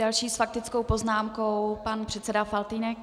Další s faktickou poznámkou pan předseda Faltýnek.